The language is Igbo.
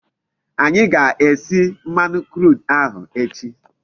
Anyi ga-esi mmanu crude ahu echi